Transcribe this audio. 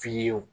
Fiyewu